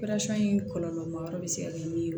in kɔlɔlɔ ma yɔrɔ bɛ se ka kɛ min ye